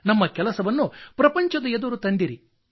ನಮ್ಮ ಕೆಲಸವನ್ನು ಪ್ರಪಂಚದ ಎದುರು ತಂದಿರಿ